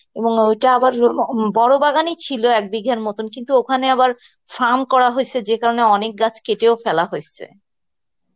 এবং ঐটা আনবার উম বড় বাগান এ ছিল এক বিঘের মতন কিন্তু ওখানে আবার farm করা হয়েছে ওই কারণে অনেক গাছ কেটে ফেলা হয়েছে